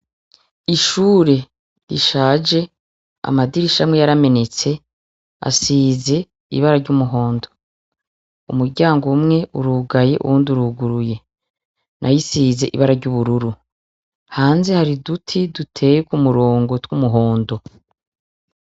Ishure rishaje amadirisha amwe yaramenetse asize ibara ry'umuhondo. Umuryango umwe urugaye uwundi uruguruye. Nayo isize ibara ry'ubururu. Hanze hari uduti duteye ku murongo tw'umuhondo.